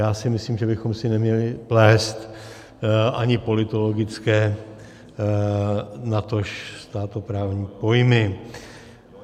Já si myslím, že bychom si neměli plést ani politologické, natož státoprávní pojmy.